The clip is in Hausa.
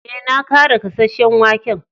Eh, na kara gasasen waken.